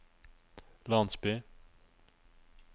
landsby